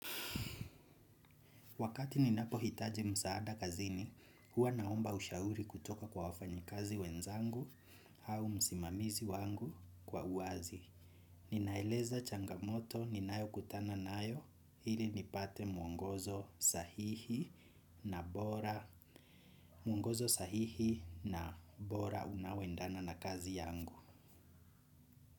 Wakati ninapohitaji msaada kazini, huwa naomba ushauri kutoka kwa wafanyikazi wenzangu au msimamizi wangu kwa uwazi. Ninaeleza changamoto ninayokutana nayo ili nipate mwongozo sahihi mwongozo sahihi na bora unaoendana na kazi yangu.